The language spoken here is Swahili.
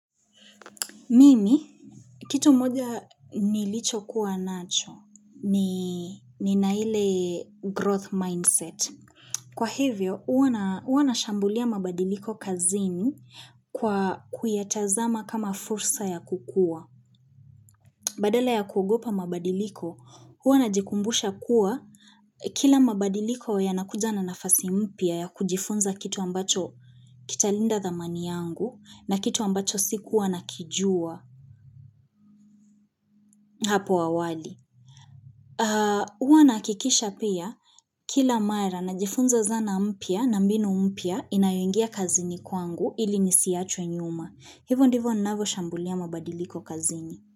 Mimi, kitu moja nilichokuwa nacho ni nina ile growth mindset. Kwa hivyo, huwa nashambulia mabadiliko kazini kwa kuyatazama kama fursa ya kukua. Badala ya kugopa mabadiliko, huwa najikumbusha kuwa kila mabadiliko yanakuja na nafasi mpya ya kujifunza kitu ambacho kitalinda thamani yangu na kitu ambacho sikuwa nakijua. Huwa nahakikisha pia kila mara najifunza zana mpya na mbinu mpya inayoingia kazini kwangu ili nisiachwe nyuma. Hivyo ndivyo ninavyo shambulia mabadiliko kazini.